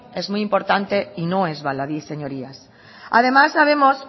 es muy importante y no es baladí señorías además sabemos